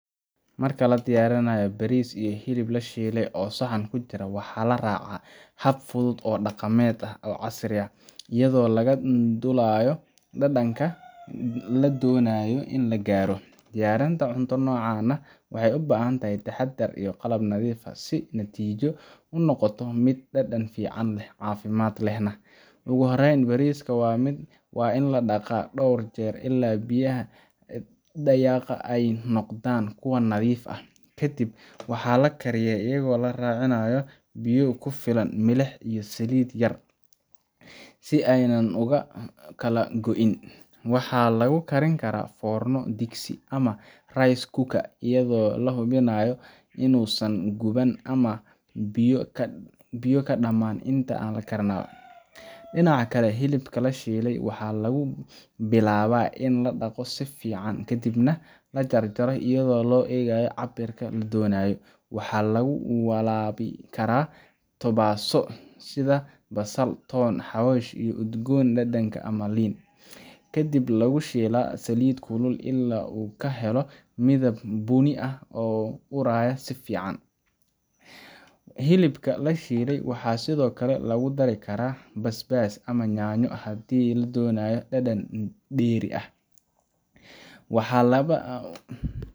Marka la diyaarinayo bariis iyo hilib la shiilay oo saxan ku jira, waxaa la raacaa hab fudud oo dhaqameed ama casri ah, iyadoo laga duulayo dhadhanka la doonayo in la gaaro. Diyaarinta cunto noocan ah waxay u baahan tahay taxaddar iyo qalab nadiif ah si natiijadu u noqoto mid dhadhan fiican leh, caafimaad lehna. Ugu horreyn, bariiska waa in la dhaqaa dhowr jeer ilaa biyaha dhaqaya ay noqdaan kuwo nadiif ah. Ka dib waxaa la kariyaa iyadoo la raacinayo biyo ku filan, milix, iyo saliid yar si aanay u kala go'in. Waxaa lagu karin karaa foorno, digsi ama rice cooker iyadoo la hubinayo inuusan guban ama biyo ka dhamaan inta uu karinayo. Dhinaca kale, hilibka la shiilayo waxaa lagu bilaabaa in la dhaqdo si fiican ka dibna la jarjaro iyadoo loo eegayo cabbirka la doonayo. Waxaa lagu walaabi karaa tobaso sida basal, toon, xawaash, dhir udgoon, dhanaan ama liin, ka dibna lagu shiilaa saliid kulul ilaa uu ka helo midab bunni ah oo u uraya si fiican. Hilibka la shiilay waxaa sidoo kale lagu dari karaa basbaas ama yaanyo, haddii la doonayo dhadhan dheeri ah